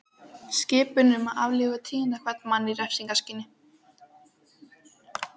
Skipun um að aflífa tíunda hvern mann í refsingarskyni.